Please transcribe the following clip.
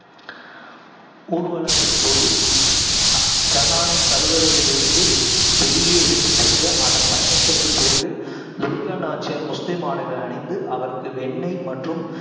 ஊர்வலங்களின் போது, ஜகானை கருவறையிலிருந்து வெளியே எடுத்துச் சென்று, அதன் பயணத்திற்குப் பிறகு, துலுக்க நாச்சியார் முஸ்லீம் ஆடைகளை அணிந்து, அவருக்கு வெண்ணெய் மற்றும்